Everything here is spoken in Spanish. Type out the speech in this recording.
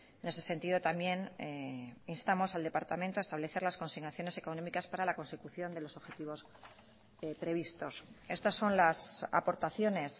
en ese sentido también instamos al departamento a establecer las consignaciones económicas para la consecución de los objetivos previstos estas son las aportaciones